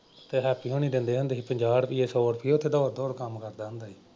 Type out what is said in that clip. ਤੇ ਹੈਪੀ ਹੁਣੀ ਦਿੰਦੇ ਹੁੰਦੇ ਸੀ ਪੰਜਾਹ ਰੁਪਈਏ ਸੌ ਰੁਪਈਏ ਉੱਥੇ ਦੌੜ ਦੌੜ ਕੰਮ ਕਰਦਾ ਹੁੰਦਾ ਸੀ।